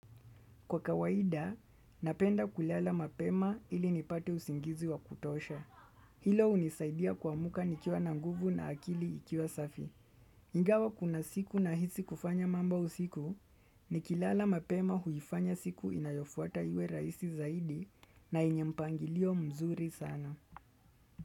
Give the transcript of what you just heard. Kwa kawaida, napenda kulala mapema ili nipate usingizi wa kutosha. Hilo hunisaidia kuamuka nikiwa na nguvu na akili ikiwa safi. Ingawa kuna siku nahisi kufanya mambo usiku, nikilala mapema huifanya siku inayofuata iwe raisi zaidi na yenye mpangilio mzuri sana.